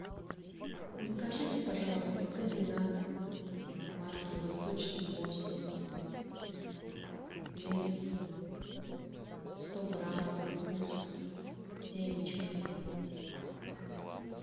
закажите пожалуйста козинак марки восточный гость вес сто грамм вкус с семечками